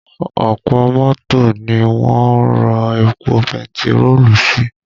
Ọ̀pọ̀ mọ́tò ni wọ́n ń rọ epo bentiroolu sí